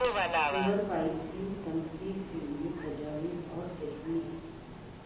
sewer pipe کی تنصیب کے لئے تجاویز اور ٹیکنیکس